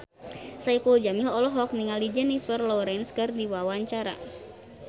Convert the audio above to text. Saipul Jamil olohok ningali Jennifer Lawrence keur diwawancara